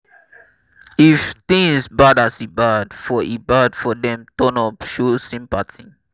if things bad as e bad for e bad for them turn up show sympathy